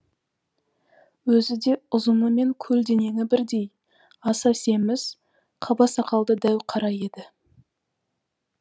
өзі де ұзыны мен көлденеңі бірдей аса семіз қаба сақалды дәу қара еді